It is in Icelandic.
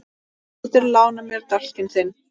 Geturðu lánað mér dálkinn þinn?